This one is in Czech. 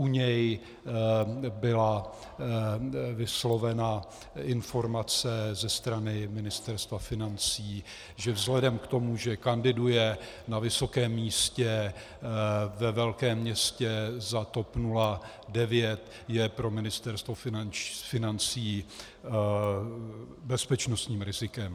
U něj byla vyslovena informace ze strany Ministerstva financí, že vzhledem k tomu, že kandiduje na vysokém místě ve velkém městě za TOP 09, je pro Ministerstvo financí bezpečnostním rizikem.